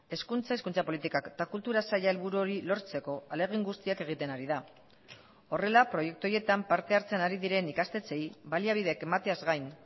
hezkuntza hizkuntza politikak eta kultura saila helburu hori lortzeko ahalegin guztiak egiten ari da horrela proiektu horietan parte hartzen ari diren ikastetxeei baliabidek emateaz gain